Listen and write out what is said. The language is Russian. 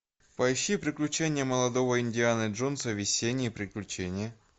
поищи приключения молодого индианы джонса весенние приключения